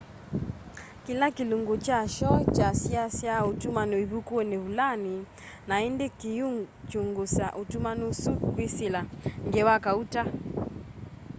kila kilungu kya shoo kyasyiasya utumani ivukuni vulani na indi kiikyungusa utumani usu kwisila ngewa kauta